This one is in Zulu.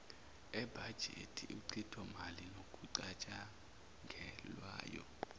ebhajethi uchithomali nokucatshangelwayo